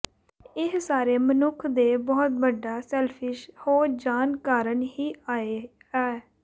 ਏਹ ਸਾਰੇ ਮਨੁੱਖ ਦੇ ਬਹੁਤ ਵੱਡਾ ਸੈਲਫ਼ਿਸ਼ ਹੋ ਜਾਣ ਕਾਰਨ ਹੀ ਆਏ ਆ